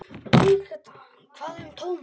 Hvað um Thomas?